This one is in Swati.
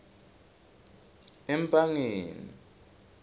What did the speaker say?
empangeni